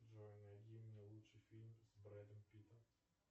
джой найди мне лучший фильм с брэдом питтом